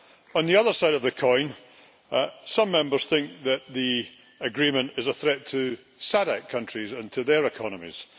On the other side of the coin, some Members think that the Agreement is a threat to SADC countries and to their economies.